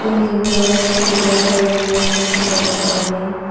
ಇಲ್ಲಿ ಬಹಳಷ್ಟು ನಳಗಳನ್ನು ಫಿಟ್ ಮಾಡಿದ್ದಾರೆ.